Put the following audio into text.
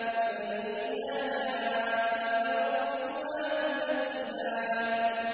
فَبِأَيِّ آلَاءِ رَبِّكُمَا تُكَذِّبَانِ